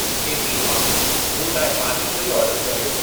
KP मां मूं लाइ पानीपुरी आर्डरु कर्यो